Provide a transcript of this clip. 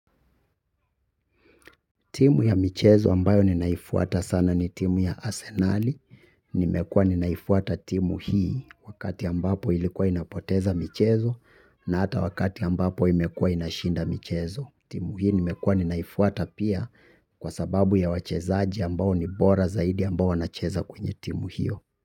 Timu ya michezo ambayo ninaifuata sana ni timu ya asenali. Nimekua ninaifuata timu hii wakati ambapo ilikuwa inapoteza michezo na hata wakati ambapo imekua inashinda michezo. Timu hii nimekua ninaifuata pia kwa sababu ya wachezaji ambao ni bora zaidi ambao wanacheza kwenye timu hiyo.